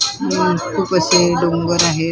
उम्म खूप असे डोंगर आहेत डोंगरा --